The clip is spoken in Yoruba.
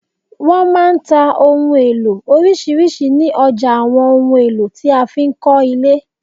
Wọn máa ń tà òhun èlò orisirisi ni ọjà àwọn ohùn èlò tí a fi ń kọ ile